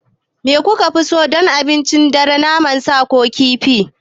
Me kuke so don abincin dare, naman sa ko kifi?